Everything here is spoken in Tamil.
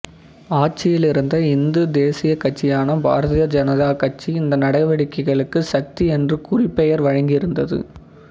ஆட்சியிலிருந்த இந்து தேசியக் கட்சியான பாரதிய ஜனதா கட்சி இந்த நடவடிக்கைகளுக்கு சக்தி என்று குறிப்பெயர் வழங்கியிருந்தது